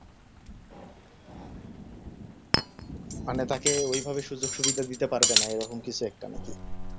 অন্য চাকরির এভাবে সুযোগ-সুবিধা দিতে পারবে না এরকম কিছু একটা মতি